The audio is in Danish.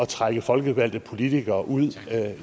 trække folkevalgte politikere ud